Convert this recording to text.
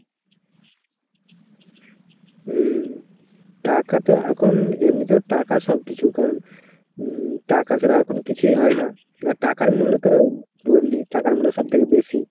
হম। টাকাতো এখন এমনিতেও টাকা সব কিছু। কারণ উম টাকা ছাড়া এখন কিছুই হয়না । আর টাকার মূল্য তো বললি, টাকার মূল্য সব থেকে বেশি।